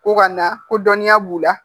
Ko ka na ko dɔnniya b'u la